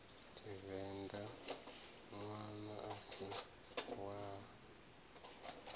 tshivenḓa ṋwana a si wa